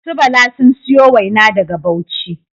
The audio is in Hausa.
Su Bala sun siyo waina daga bauchi